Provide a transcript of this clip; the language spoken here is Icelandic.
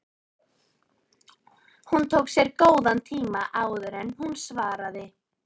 Hún tók sér góðan tíma áður en hún svaraði.